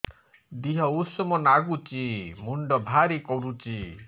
ଦିହ ଉଷୁମ ନାଗୁଚି ମୁଣ୍ଡ ଭାରି କରୁଚି